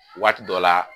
Waati dɔ la